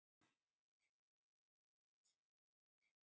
Öllum látunum í bænum sem lauk niðri á Slysadeild.